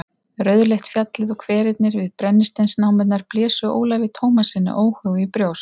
Rauðleitt fjallið og hverirnir við brennisteinsnámurnar blésu Ólafi Tómassyni óhug í brjóst.